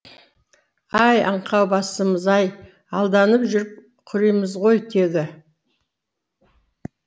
ай аңқау басымыз ай алданып жүріп құримыз ғой тегі